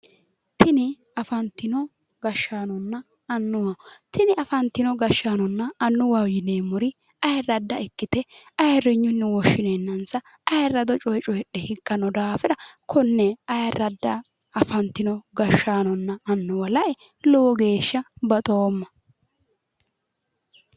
tini afantino gashshaanonna annuwa tini afantino gashshaanonna annuwaho yineemmori ayirradda ikkite ayirinyunni woshshineennansa ayirinyunni coyifhe higganno daafira kuri ayiradda gashshaanonna annuwa lae low geeshsha baxoomma.